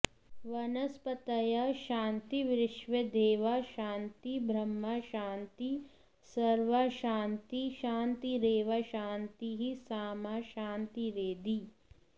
वनस्पतयःशान्तिर्व्विश्वेदेवाः शान्तिर्ब्रह्म शान्ति सर्व ँ शान्तिः शान्तिरेव शान्तिः सामा शान्तिरेधि